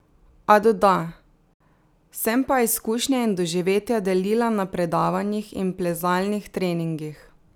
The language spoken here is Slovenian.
A doda: "Sem pa izkušnje in doživetja delila na predavanjih in plezalnih treningih.